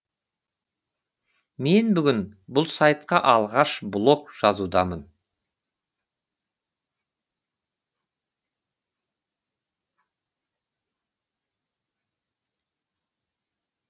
мен бүгін бұл сайтқа алғаш блог жазудамын